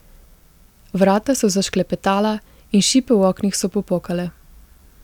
Vrata so zašklepetala in šipe v oknih so popokale.